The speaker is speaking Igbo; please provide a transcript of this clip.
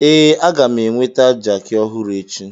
Ee, a ga m enweta jakị ọhụrụ echi.